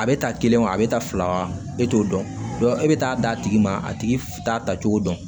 A bɛ ta kelen wa a bɛ taa fila wa e t'o dɔn e bɛ taa d'a tigi ma a tigi t'a ta cogo dɔn